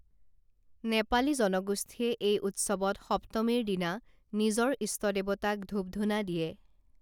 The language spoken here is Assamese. নেপালী জনগোষ্ঠীয়ে এই উৎসৱত সপ্তমীৰ দিনা নিজৰ ইষ্ট দেৱতাক ধূপ ধূনা দিয়ে